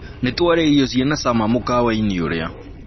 Nĩtwaria irio ciĩna cama mũkawa-ini ũrĩa